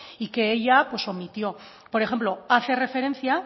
y que ella pues omitió por ejemplo hace referencia